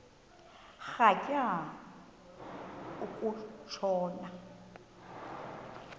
rhatya uku tshona